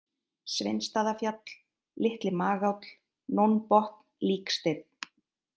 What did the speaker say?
Sveinsstaðafjall, Litli-Magáll, Nónbotn, Líksteinn